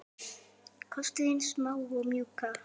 Kostir hins smáa og mjúka